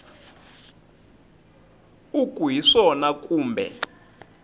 u ku hi swona kumbe